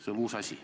See on uus asi.